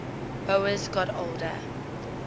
boas got older